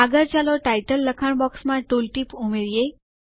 આગળ ચાલો ટાઇટલ લખાણ બોક્સ માં ટૂલ ટીપ ઉમેરીએ